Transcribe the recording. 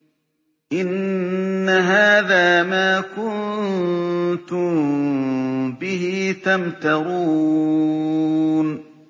إِنَّ هَٰذَا مَا كُنتُم بِهِ تَمْتَرُونَ